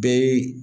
Bɛɛ